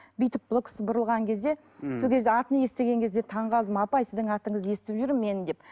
бүйтіп бұл кісі бұрылған кезде сол кезде ммм атын естіген кезде таңғалдым апай сіздің атыңызды естіп жүрмін мен деп